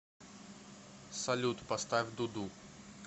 салют поставь дуду